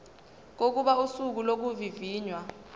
kokuba usuku lokuvivinywa